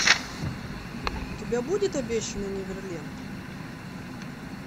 у тебя будет обещанный неверленд